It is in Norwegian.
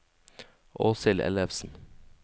Åshild Ellefsen